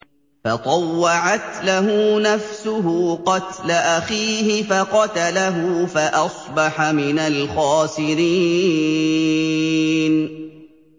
فَطَوَّعَتْ لَهُ نَفْسُهُ قَتْلَ أَخِيهِ فَقَتَلَهُ فَأَصْبَحَ مِنَ الْخَاسِرِينَ